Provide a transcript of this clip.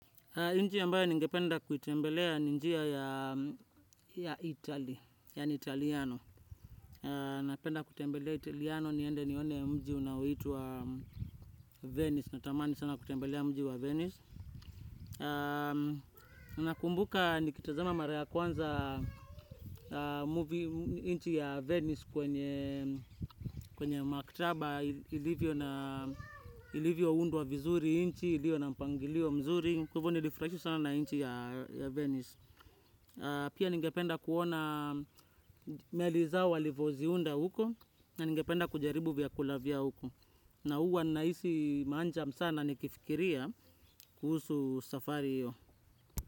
Inchi ambayo ningependa kutembelea ni njia ya italy, yani italiano. Napenda kutembelea italiano niende nione mji unaoitwa venice. Natamani sana kutembelea mji wa venice. Nakumbuka nikitazama mara ya kwanza movie inchi ya venice kwenye makitaba ilivyo na ilivyoundwa vizuri inchi, ilio na mpangilio mzuri. Kwa hivoo nilifurahishwa sana na inchi ya venice. Pia ningependa kuona meli zao walivoziunda huko na ningependa kujaribu vyakula vya huko. Na huwa nahisi manjam sana nikifikiria kuhusu safari hiyo.